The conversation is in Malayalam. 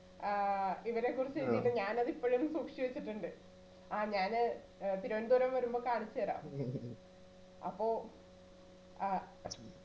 ആഹ് ഇവരെക്കുറിച്ചു എഴുതിട്ടു ഞാൻ ഇപ്പോളും സൂക്ഷിച്ചു വെച്ചിട്ടുണ്ട് ആഹ് ഞാനാ ഏർ തിരുവനന്തപുരം വരുമ്പോ കാണിച്ചു തരാം അപ്പൊ ആഹ്